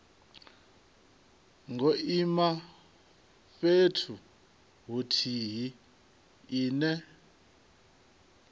ngo ima fhethu huthihi ine